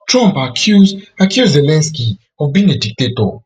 trump accuse accuse zelensky of being a dictator